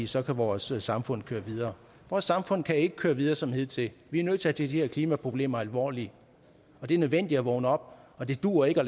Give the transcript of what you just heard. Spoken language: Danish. så kan vores samfund køre videre vores samfund kan ikke køre videre som hidtil vi er nødt til at tage de her klimaproblemer alvorligt det er nødvendigt at vågne op og det duer ikke at